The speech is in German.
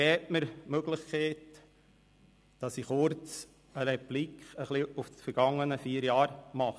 Geben Sie mir die Möglichkeit, kurz Rückschau auf die vergangenen vier Jahre zu halten.